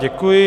Děkuji.